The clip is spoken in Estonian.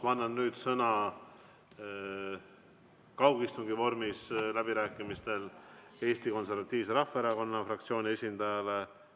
Ma annan nüüd läbirääkimistel kaugistungi vormis sõna Eesti Konservatiivse Rahvaerakonna fraktsiooni esindajale.